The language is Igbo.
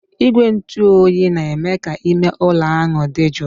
Igwe ntụ oyi na-eme ka ime ụlọ ahụ dị jụụ.